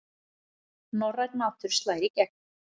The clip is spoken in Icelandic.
Norrænn matur slær í gegn